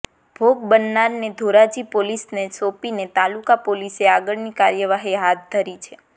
ભોગ બનનારને ધોરાજી પોલીસને સોંપીને તાલુકા પોલીસે આગળની કાર્યવાહી હાથ ધરી છે